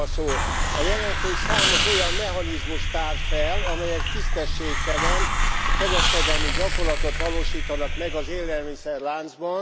A jelentés számos olyan mechanizmust tár fel, amelyek tisztességtelen kereskedelmi gyakorlatot valósítanak meg az élelmiszerláncban.